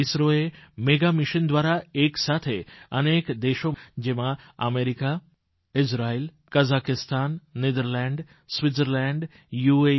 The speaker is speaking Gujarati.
ઇસરોએ મેગા મિશન દ્વારા એક સાથે અનેક દેશો જેમાં America Israel Kazakhstan Netherland Switzerland you